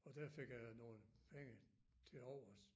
Og der fik jeg nogle penge tilovers